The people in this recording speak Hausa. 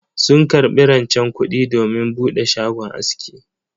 Sun karbi rancen kudi domin bude shagon aski.